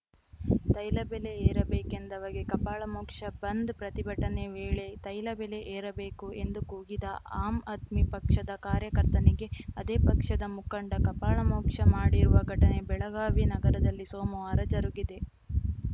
ತೈಲ ಬೆಲೆ ಏರಬೇಕೆಂದವಗೆ ಕಪಾಳಮೋಕ್ಷ ಬಂದ್‌ ಪ್ರತಿಭಟನೆ ವೇಳೆ ತೈಲ ಬೆಲೆ ಏರಬೇಕು ಎಂದು ಕೂಗಿದ ಆಮ್‌ ಆದ್ಮಿ ಪಕ್ಷದ ಕಾರ್ಯಕರ್ತನಿಗೆ ಅದೇ ಪಕ್ಷದ ಮುಖಂಡ ಕಪಾಳಮೋಕ್ಷ ಮಾಡಿರುವ ಘಟನೆ ಬೆಳಗಾವಿ ನಗರದಲ್ಲಿ ಸೋಮವಾರ ಜರುಗಿದೆ